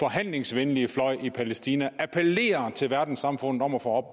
forhandlingsvenlige fløj i palæstina appellerer til verdenssamfundet om at få